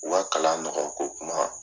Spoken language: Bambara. U ka kalan nɔgɔya ko kuma